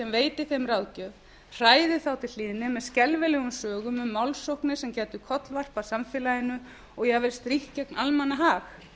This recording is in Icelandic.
veiti þeim ráðgjöf hræði þá til hlýðni með skelfilegum sögum um málsóknir sem gætu kollvarpað samfélaginu og jafnvel strítt gegn almannahag